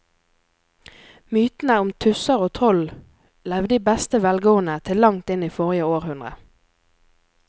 Mytene om tusser og troll levde i beste velgående til langt inn i forrige århundre.